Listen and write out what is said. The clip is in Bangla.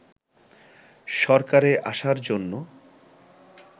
সরকারে আসার জন্য